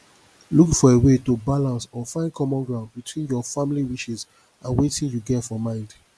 look for a wey to balance or find common ground between your family wishes and wetin you get for mind